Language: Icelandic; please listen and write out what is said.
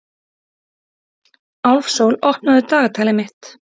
Álfsól, opnaðu dagatalið mitt.